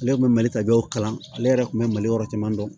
Ale kun bɛ mali ka bɛɛ kalan ale yɛrɛ kun bɛ mali yɔrɔ caman dɔn